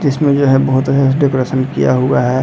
जिसमे जो है बहुत अच्छा से डेकोरेशन किया हुआ है।